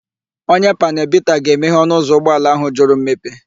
Onye panelu bita ga-emehe ọnụụzọ ụgbọala áhụ̀ jụrụ mmepe.